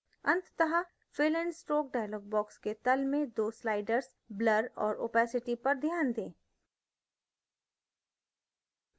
अंततः fill and stroke dialog box के तल में 2 sliders blur और opacity पर ध्यान दें